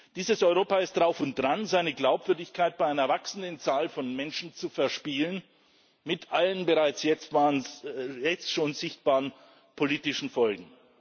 Dieses Europa ist drauf und dran, seine Glaubwürdigkeit bei einer wachsenden Zahl von Menschen zu verspielen mit allen bereits jetzt schon sichtbaren politischen Folgen.